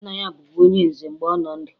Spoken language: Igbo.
Nna ya bụbu onye nze mgbe ọ nọ ndụ